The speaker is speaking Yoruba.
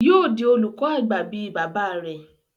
Yóò di olùkọ àgbà bí i bàbá rẹ̀.